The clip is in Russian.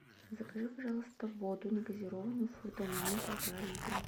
закажи пожалуйста воду негазированную фрутоняня полтора литра